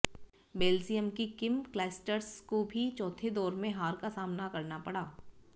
Belgium की Kim Clijsters को भी चौथे दौर में हार का सामना करना पड़ा